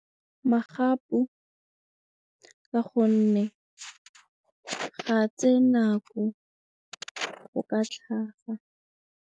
Magapu ka gonne ga tsee nako go ka tlhaga.